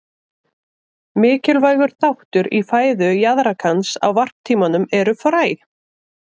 Mikilvægur þáttur í fæðu jaðrakans á varptímanum eru fræ.